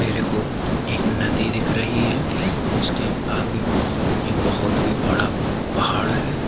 मेरेको एक नदी दिख रही है इसके आगे एक बहोत ही बड़ा अ पहाड़ है